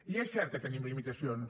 i és cert que tenim limitacions